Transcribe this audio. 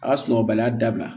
A ka sunɔgɔbaliya dabila